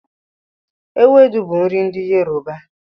Ewepu bú nri ndi Yoruba